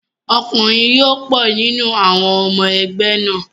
Ọkùnrin yó pọ̀ nínú àwọn ọmọ ẹgbẹ́ náà.